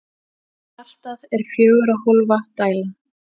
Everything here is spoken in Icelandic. Hjartað er fjögurra hólfa dæla.